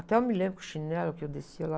Até eu me lembro que o chinelo que eu descia lá...